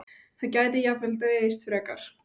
Það gæti jafnvel dregist frekar.